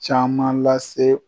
Caman lase